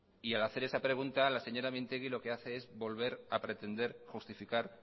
y al hacer esa pregunta la señora mintegi lo que hace es volver a pretender justificar